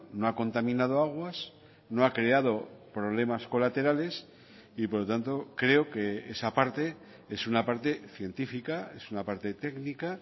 no ha contaminado aguas no ha creado problemas colaterales y por lo tanto creo que esa parte es una parte científica es una parte técnica